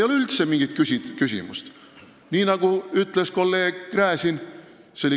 See oli kõige puhtakujulisem rahapesu, nagu ütles kolleeg Gräzin.